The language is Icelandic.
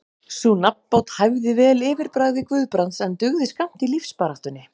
Sú nafnbót hæfði vel yfirbragði Guðbrands, en dugði skammt í lífsbaráttunni.